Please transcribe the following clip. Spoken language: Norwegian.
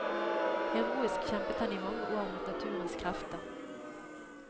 Heroisk kjempet han i mange år mot naturens krefter.